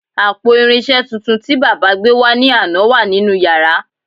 Àpò irinṣẹ́ tuntun tí baba gbé wá ní àná wà nínú yàrá